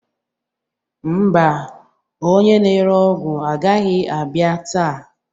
Ḿbà, Onye na-ere ọgwụ agaghị abịa taa.